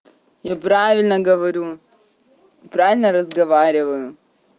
я правильно говорю правильно разговариваю